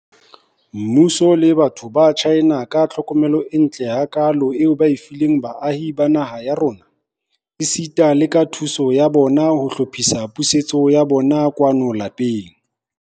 Mmuso le batho ba China ka tlhokomelo e ntle hakaalo eo ba e fileng baahi ba naha ya rona, esita le ka thuso ya bona ya ho hlophisa pusetso ya bona kwano lapeng.